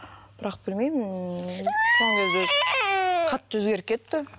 бірақ білмеймін ммм қатты өзгеріп кетті